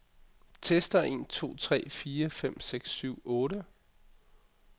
Tester en to tre fire fem seks syv otte.